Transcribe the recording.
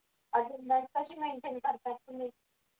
अजून मग कशी mention करतात ते